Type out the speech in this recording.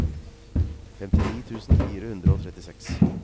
femtini tusen fire hundre og trettiseks